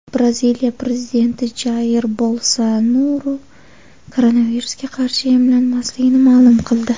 Braziliya prezidenti Jair Bolsonaru koronavirusga qarshi emlanmasligini ma’lum qildi.